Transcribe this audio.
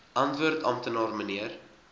antwoord amptenaar mnr